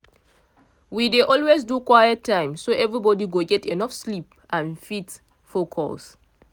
we dey always do quiet time so everybody go get enough sleep and fit focus.